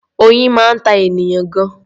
Oyin máa ń ta ènìyàn gan-an.